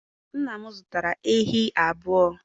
nna m zụtara ehi abuo?